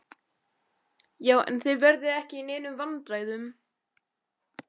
Já, en þið verðið ekki í neinum vandræðum.